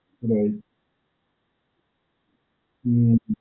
right, હમ્મ.